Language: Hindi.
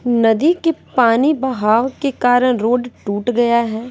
नदी के पानी बहाव के कारण रोड टूट गया है।